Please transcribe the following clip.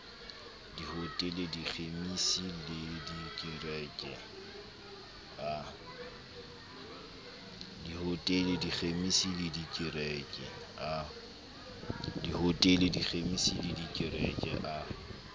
dihotele dikhemisi le dikereke a